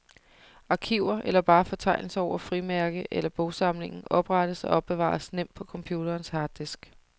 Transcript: Arkiver, eller bare fortegnelser over frimærke- eller bogsamlingen, oprettes og opbevares nemt på computerens harddisk.